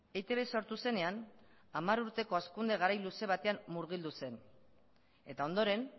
eitb sortu zenean hamar urteko hazkunde garai luze batean murgildu zen eta ondoren